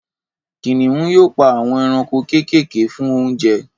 Kìnìún yóò pa àwọn ẹranko kéékèèké fún oúnjẹ